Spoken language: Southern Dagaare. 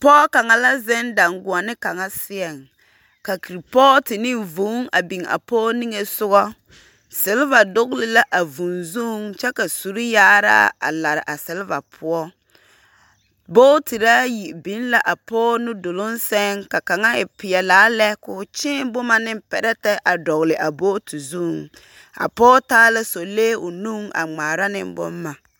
Pͻge kaŋa la zeŋ daŋgoͻne kaŋa seԑŋ, ka kuripootu ane vũũ a biŋaa pͻge niŋe sogͻ. Seleva dogele la a vũũ zuŋ kyԑ ka suri-yaaraa a lare a seleva poͻ. Bootiri aya biŋ la apͻge nu doloŋ sԑŋ ka kaŋa e peԑlaa la koo kyee boma ane perԑte a dͻgele a booti zuŋ. A pͻge taa la sͻlee o nuŋ a ŋmaara boma.